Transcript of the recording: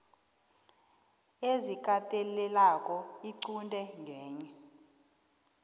ezikatelelako iqunte ngenye